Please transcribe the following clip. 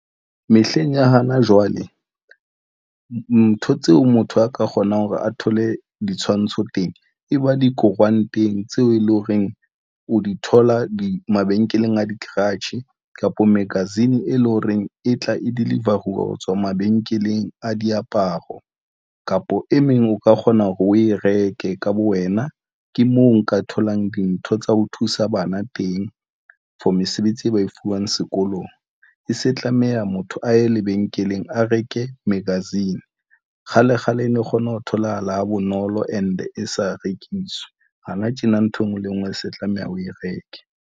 Mehleng ya hana jwale ntho tseo motho a ka kgonang hore a thole ditshwantsho teng, e ba dikoranteng tseo e leng horeng o di thola di mabenkeleng a di-garage kapa magazine e leng hore e tla e deliver-uwa hotswa mabenkeleng a diaparo kapa e meng o ka kgona hore o e reke ka bo wena, ke mo nka tholang dintho tsa ho thusa bana teng for mesebetsi e ba e fuwang sekolong. E se tlameha motho a ye lebenkeleng, a reke magazine kgale kgale e ne kgona ho tholahala ha bonolo and e sa rekiswe hana tjena ntho enngwe le enngwe e se tlameha o e reke.